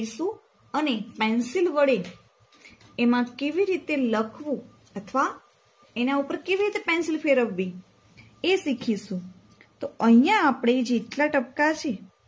અને pencil વળે એમાં કેવી રીતે લખવું અથવા એના ઉપર કેવીરીત pencil ફેરવવી એ શીખીશું તો અહિયાં આપણે જેટલા ટપકા હશે